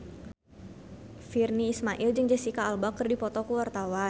Virnie Ismail jeung Jesicca Alba keur dipoto ku wartawan